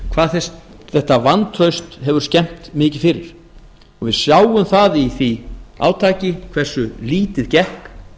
hvað þetta vantraust hefur skemmt mikið fyrir við sjáum það í því átaki hversu lítið gekk